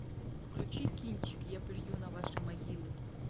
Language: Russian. включи кинчик я плюю на ваши могилы